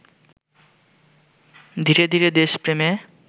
ধীরে ধীরে দেশপ্রেমে